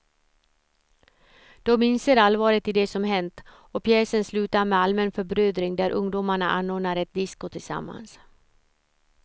De inser allvaret i det som hänt och pjäsen slutar med allmän förbrödring där ungdomarna anordnar ett disko tillsammans.